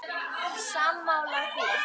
Sammála því?